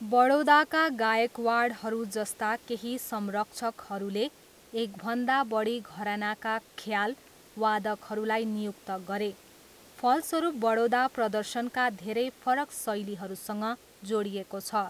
बडोदाका गायकवाडहरू जस्ता केही संरक्षकहरूले एकभन्दा बढी घरानाका ख्याल वादकहरूलाई नियुक्त गरे। फलस्वरूप बडोदा प्रदर्शनका धेरै फरक शैलीहरूसँग जोडिएको छ।